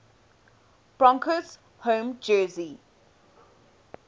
broncos home jersey